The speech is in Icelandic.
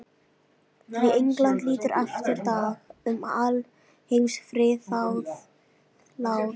Því England lítur aftur dag um alheims friðað láð.